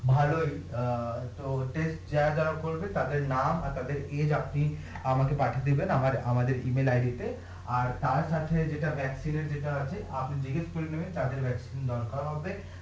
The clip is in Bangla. ভালোই অ্যাঁ তো যারা যারা করবে তাদের নাম আর তাদের আপনি আমাকে পাঠিয়ে দিবেন অ্যাঁ আমাদের ইমেইল আইডি তে আর তার সাথে যেটা এর যেটা আছে আপনি জিজ্ঞেস করে নেবেন যাদের দরকার হবে